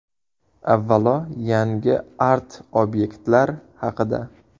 Avvalo, yangi art-obyektlar haqida.